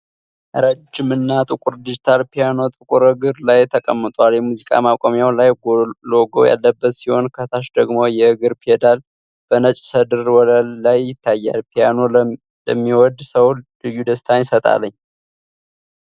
ረጅም እና ጥቁር ዲጂታል ፒያኖ ጥቁር እግር ላይ ተቀምጧል። የሙዚቃ ማቆሚያው ላይ ሎጎ ያለበት ሲሆን፣ ከታች ደግሞ የእግር ፔዳል በነጭ ሰድር ወለል ላይ ይታያል። ፒያኖ ለሚዎድ ሰው ልዩ ደስታን ይሰጣል።